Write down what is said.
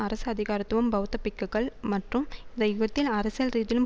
அரசு அதிகாரத்துவம் பெளத்த பிக்குகள் மற்றும் இந்த யுதத்தின் அரசியல் ரீதியிலும்